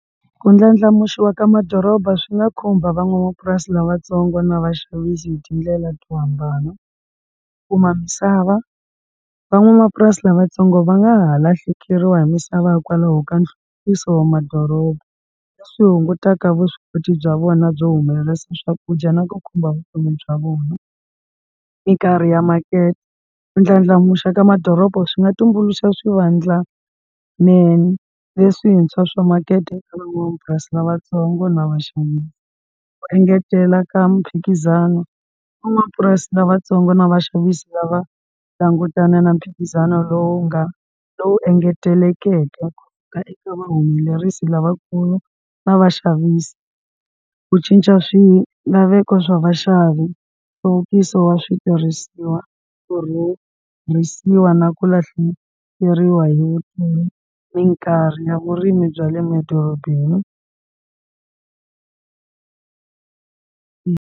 Ku ndlandlamuxiwa ka madoroba swi nga khumba van'wamapurasi lavatsongo na vaxavisi hi tindlela to hambana kuma misava van'wamapurasi lavatsongo va nga ha lahlekeriwa hi misava hikwalaho ka wa madoroba swi hungutaka vuswikoti bya vona byo humelelisa swakudya na ku khumba vutomi bya vona minkarhi ya makete ku ndlandlamuxa ka madoroba swi nga tumbuluxa swivandlanene leswintshwa swa makete eka lavatsongo na ku engetela ka mphikizano van'wapurasi lavatsongo na vaxavisi lava langutana na mphikizano lowu nga lowu engetelekeke ka eka vuhumelerisi lavakulu na vaxavisi ku cinca swilaveko swa vaxavi nhluvukiso wa switirhisiwa ku na ku lahlekeriwa hi minkarhi ya vurimi bya le madorobeni.